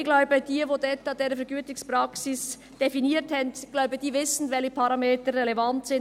Ich glaube, dass jene, die diese Vergütungspraxis dort definierten, wissen, welche Parameter relevant sind.